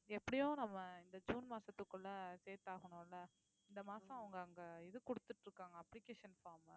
எப்படியும் நம்ம இந்த ஜூன் மாசத்துக்குள்ள சேர்த்தாகணும் இல்ல இந்த மாசம் அவங்க அங்க இது குடுத்துட்டு இருக்காங்க application form உ